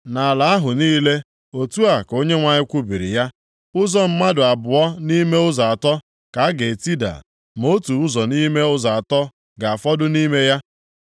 Nʼala ahụ niile,” otu a ka Onyenwe anyị kwubiri ya, “Ụzọ mmadụ abụọ nʼime ụzọ atọ ka a ga-etida, ma otu ụzọ nʼime ụzọ atọ ga-afọdụ nʼime ya.